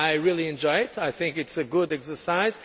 I really enjoyed it. I think it is a good exercise.